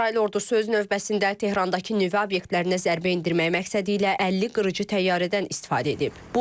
İsrail ordusu öz növbəsində Tehrandakı nüvə obyektlərinə zərbə endirmək məqsədilə 50 qırıcı təyyarədən istifadə edib.